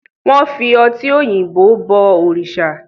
wón fí ọti òyìnbó bo òrìsà.